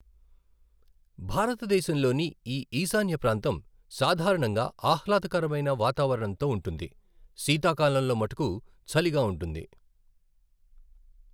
భారతదేశంలోని ఈ ఈశాన్య ప్రాంతం సాధారణంగా ఆహ్లాదకరమైన వాతావరణంతో ఉంటుంది, శీతాకాలంలో మట్టుకు చలిగా ఉంటుంది.